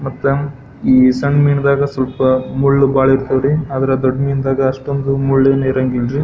ಮತ್ತ ಈ ಸಣ್ಣ ಮೀನಿದಾಗ ಸ್ವಲ್ಪ ಮುಳ್ಳು ಬಹಳ ಇರ್ತಾವ ರೀ ಅದರ ದೊಡ್ಡ್ ಮೀನಿದಾಗ ಅಷ್ಟೊಂದು ಮುಳ್ಳು ಇರಂಗಿಲ್ಲ ರೀ.